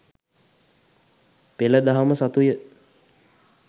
පෙළ දහම සතුය.